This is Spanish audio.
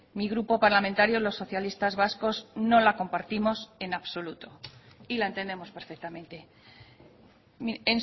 mi grupo parlamentario los socialistas vascos no la compartimos en absoluto y la entendemos perfectamente mire